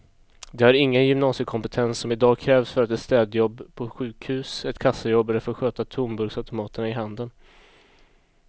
De har ingen gymnasiekompetens som i dag krävs för ett städjobb på sjukhus, ett kassajobb eller för att sköta tomburksautomaterna i handeln.